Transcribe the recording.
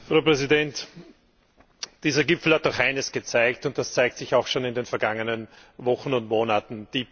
Frau Präsidentin! Dieser Gipfel hat doch eines gezeigt, und das zeigte sich auch schon in den vergangenen Wochen und Monaten.